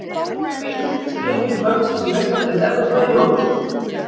Tveimur fyrstu leikjum kvöldsins í Meistaradeild Evrópu er lokið.